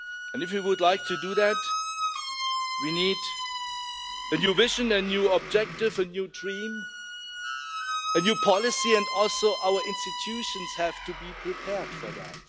If you would like to do that, we need a new vision, a new objective, a new dream, a new policy and also our institutions have to be prepared for that.